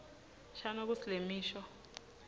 shano kutsi lemisho